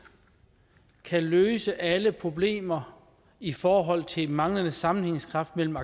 kan løse alle problemer i forhold til manglende sammenhængskraft mellem